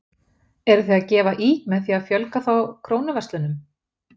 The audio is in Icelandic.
Eruð þið að gefa í með því að fjölga þá Krónuverslunum?